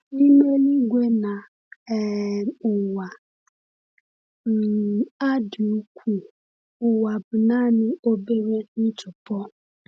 N’ime eluigwe na um ụwa um a dị ukwuu, ụwa bụ naanị obere ntụpọ.